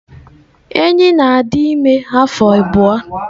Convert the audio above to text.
Enyí na-adị ime afọ abụọ.